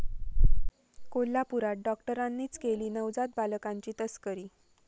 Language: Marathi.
कोल्हापूरात डॉक्टरांनीच केली नवजात बालकांची तस्करी!